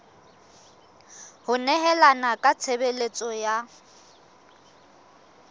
ho nehelana ka tshebeletso ya